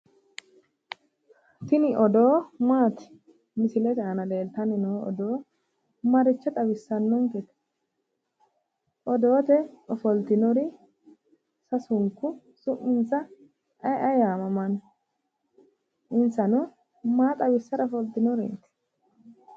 Tini odoo maati? misilete aana leeltanni noo odoo maricho xawissannonke? odoote ofoltinori sasunku su'minsa ayee aye yaamamanno? insano maa xawissara ofoltinoreeti.